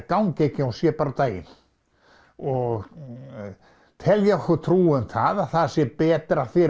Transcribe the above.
gangi ekki að hún sé bara á daginn og telja okkur trú um það að það sé betra fyrir